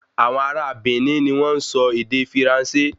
Awọ̀n ará a Benin ni wọ́n n sọ ède Firanse